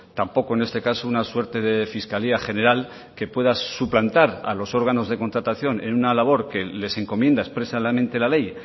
tampoco en este caso una suerte de fiscalía general que pueda suplantar a los órganos de contratación en una labor que les encomienda expresamente la ley